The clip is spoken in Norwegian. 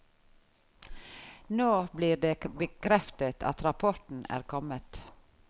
Nå blir det bekreftet at rapporten er kommet.